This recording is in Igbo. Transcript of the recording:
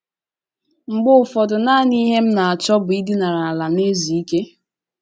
“ Mgbe ụfọdụ, nanị ihe m na - achọ bụ idinara ala na - ezu ike. ”